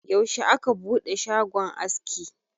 yaushe aka bude shagon aski?